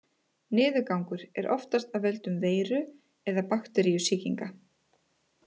Niðurgangur er oftast af völdum veiru- eða bakteríusýkinga.